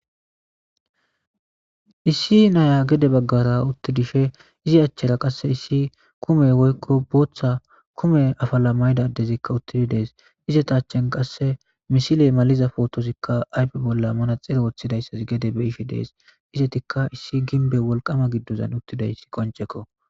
issi naya gede baggara uttidishe izi achchera qasse issi kume woykko booththa kume afala maydadezikka uttidi dees izetachen qasse misile maliza pootosikka aype bolla mana xere woththidayssas gede be ishi dees izetikka issi ginbe wolqama giddozan uttidayssi koncekko